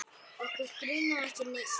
Okkur grunar ekki neitt.